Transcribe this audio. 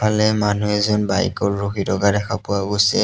গফালে মানুহ এজন বাইক ত ৰখি থকা দেখা পোৱা গৈছে।